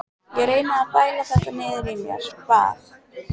Ég reyndi að bæla þetta niður í mér, bað